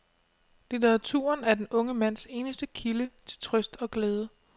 Litteraturen er den unge mands eneste kilde til trøst og glæde.